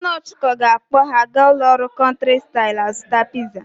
Nna Ọchụko ga-akpọ ha aga ụlọ nri Country style azụta piza.